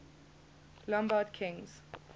lombard kings